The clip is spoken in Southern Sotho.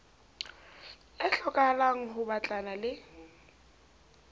e hlokahalang ho batlana le